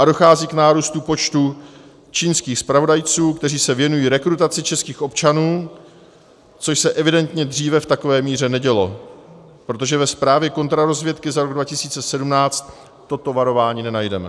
A dochází k nárůstu počtu čínských zpravodajců, kteří se věnují rekrutaci českých občanů, což se evidentně dříve v takové míře nedělo, protože ve zprávě kontrarozvědky za rok 2017 toto varování nenajdeme.